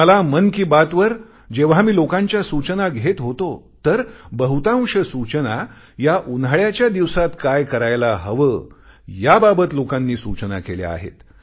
आणि मला मन की बात वर जेव्हा मी लोकांच्या सूचना घेत होतो तर बहुतांश सूचना या उन्हाळ्याच्या दिवसांत काय करायला हवे याबाबत लोकांनी सूचना केल्या आहेत